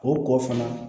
O kɔ fana